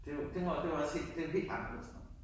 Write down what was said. Det var det var også det jo helt anderledes nu